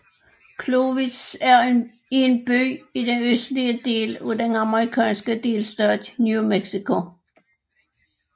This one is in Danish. Clovis er en by i den østlige del af den amemerikanske delstat New Mexico